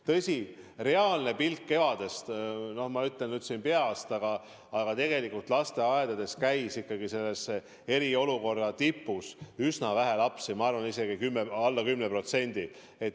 Tõsi, reaalne pilt kevadel oli selline – ma ütlen peast –, et tegelikult lasteaedades käis eriolukorra tipus üsna vähe lapsi, ma arvan, isegi alla 10%.